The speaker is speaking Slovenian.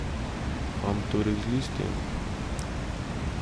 Kam torej z listjem?